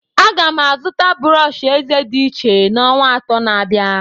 Aga m azụta brọsh eze dị iche n'ọnwa atọ na-abịa.